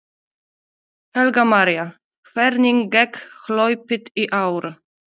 Helga María: Hvernig gekk hlaupið í ár?